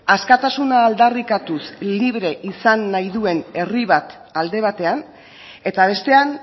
askatasuna aldarrikatuz libre izan nahi duen herri bat alde batean eta bestean